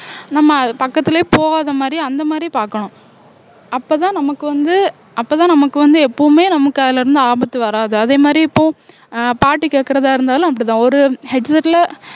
நம்ம பக்கத்திலேயே போகாத மாதிரி அந்த மாதிரி பார்க்கணும் அப்பதான் நமக்கு வந்து அப்பதான் நமக்கு வந்து எப்பவுமே நமக்கு அதுல இருந்து ஆபத்து வராது அதே மாதிரி இப்போ அஹ் பாட்டு கேட்கறதா இருந்தாலும் அப்படித்தான் ஒரு headset ல